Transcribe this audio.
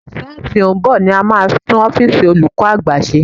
Sáà tó ń bò ni a máa tú ọ́físì olúkọ́ àgbà ṣe.